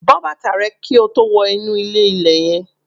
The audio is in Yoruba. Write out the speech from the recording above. Bọ́ bàtà rẹ kí o tó wọ inú ilé-ilẹ̀ yẹn